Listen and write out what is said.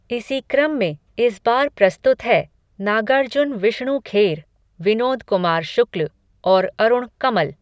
इसी क्रम में, इस बार प्रस्तुत है, नागार्जुन विष्णु खेर, विनोद कुमार शुक्ल, और अरुण कमल